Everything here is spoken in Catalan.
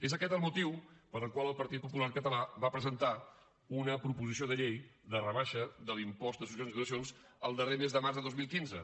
és aquest el motiu pel qual el partit popular català va presentar una proposició de llei de rebaixa de l’impost de successions i donacions el darrer mes de març de dos mil quinze